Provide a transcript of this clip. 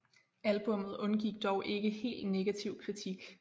Albummet undgik dog ikke helt negativ kritik